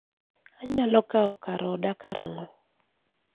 anyalo kawo kar oda karang'o